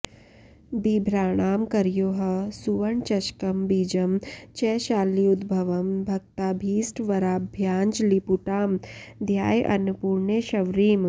बिभ्राणां करयोः सुवर्णचषकं बीजं च शाल्युद्भवं भक्ताभीष्टवराभयाञ्जलिपुटां ध्यायेऽन्नपूर्णेश्वरीम्